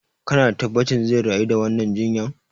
Kana da tabbacin zai rayu da wannan jinyan?